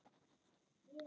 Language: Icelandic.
Ég opna bréfið.